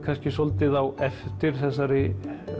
svolítið á eftir þessari